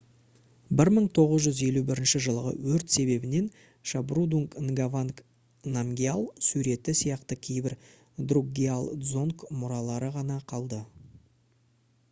1951 жылғы өрт себебінен шабдрунг нгаванг намгьял суреті сияқты кейбір друкгиал дзонг мұралары ғана қалды